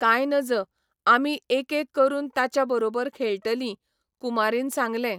काय नजं, आमी एकएक करून ताच्या बरोबर खेळटली, कुमारीन सांगलें.